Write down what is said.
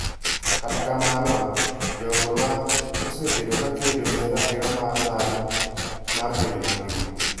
Kata mana jogo ma osebedo ka kedo ne ratiro mar dhano mar bedo mangima.